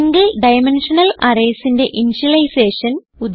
single dimensional Arraysന്റെ initialisation